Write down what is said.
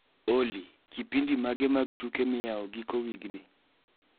Olly, kipindi mage mag tuke miyao giko wigni?